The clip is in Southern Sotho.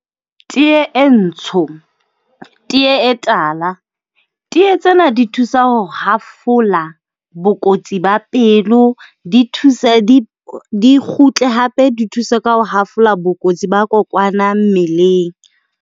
Tee e ntsho, tee e tala. Tee tsena di thusa ho hafola bokotsi ba pelo, di thusa di kgutle hape di thuse ka ho hafola bokotsi ba kokwana mmeleng.